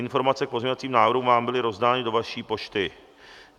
Informace k pozměňovacím návrhům vám byly rozdány do vaší pošty.